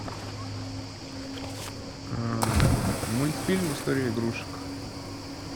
мультфильм история игрушек